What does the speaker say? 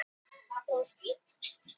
Arngunnur, hvernig er veðrið úti?